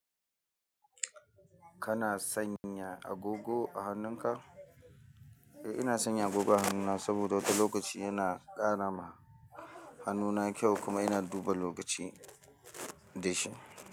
Kana sanya agogo a hannunka? Eh ina sanya agogo a hannuna saboda wata lokaci yana ƙarama hannuna kyau kuma ina duba lokaci da shi.